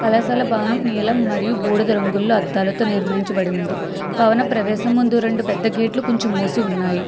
సలసల భవనం నీలం మరియు బూడిద రంగుల్లో అద్దాలతో నిర్మించబడి ఉంది భవన ప్రవేశముందు రెండు పెద్ద గేట్లు కొంచెం మూసి ఉన్నాయి.